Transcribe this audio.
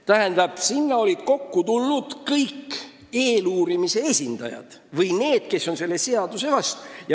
Tähendab, sinna olid kokku tulnud kõik eeluurimise esindajad või need, kes on selle seaduseelnõu vastu.